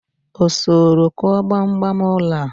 o soro ku gbam gbam ulo a?